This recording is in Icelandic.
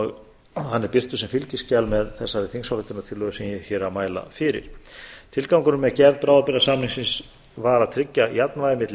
og hann er birtur sem fylgiskjal með þessari þingsályktunartillögu sem ég er að mæla fyrir tilgangurinn með gerð bráðabirgðasamningsins var að tryggja jafnvægi milli